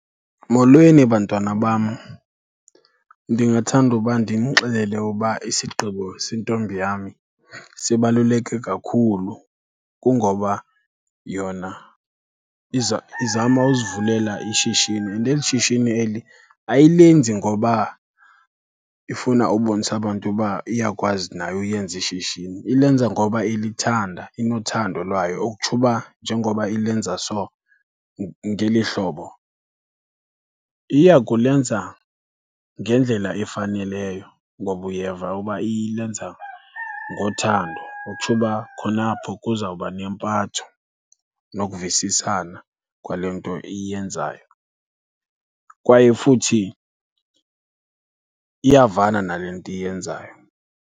Molweni, bantwana bam. Ndingathanda uba ndinixelele uba isigqibo sentombi yami sibaluleke kakhulu. Kungoba yona izama uzivulela ishishini and eli shishini eli ayilenzi ngoba ifuna ubonisa abantu uba iyakwazi nayo uyenza ishishini, ilenza ngoba ilithanda, inothando lwayo. Okutsho uba njengoba ilenza so, ngeli hlobo, iya kulenza ngendlela efaneleyo. Ngoba uyeva uba ilenza ngothando ukutsho uba khona apho kuzawuba nempatho nokuvisisana kwale nto iyenzayo, kwaye futhi iyavana nale nto iyenzayo.